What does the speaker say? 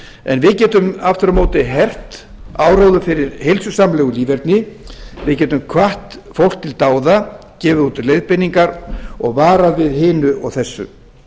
en við getum aftur á móti hert áróðurinn fyrir heilsusamlegu líferni við getum hvatt fólk til dáða gefið út leiðbeiningar og varað við hinu og þessu